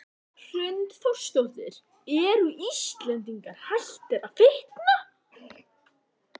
Hrund Þórsdóttir: Eru Íslendingar hættir að fitna?